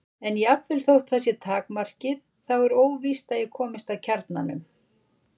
En jafnvel þótt það sé takmarkið þá er óvíst að ég komist að kjarnanum.